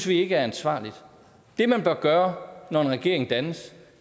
vi ikke er ansvarligt det man bør gøre når en regering dannes